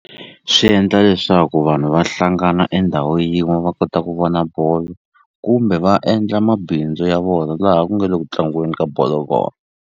Swi endla leswaku vanhu va hlangana endhawu yin'we va kota ku vona bolo kumbe va endla mabindzu ya vona laha ku nge le ku tlangiweni ka bolo kona.